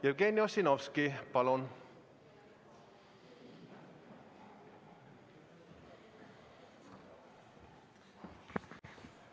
Jevgeni Ossinovski, palun!